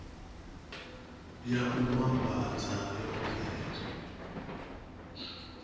ya u vhambadza yo bveledzwa